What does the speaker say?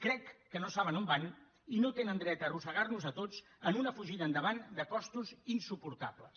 crec que no saben on van i no tenen dret a arrossegar nos a tots en una fugida endavant de costos insuportables